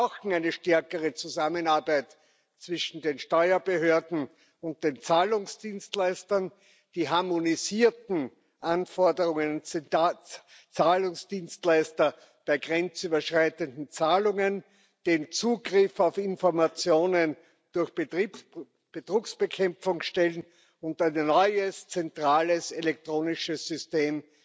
Wir brauchen eine stärkere Zusammenarbeit zwischen den Steuerbehörden und den Zahlungsdienstleistern, die harmonisierten Anforderungen an Zahlungsdienstleister bei grenzüberschreitenden Zahlungen, den Zugriff auf Informationen durch Betrugsbekämpfungsstellen und ein neues zentrales elektronisches System